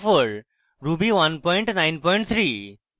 ruby193